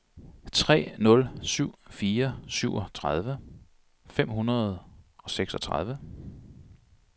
tre nul syv fire syvogtredive fem hundrede og seksogtredive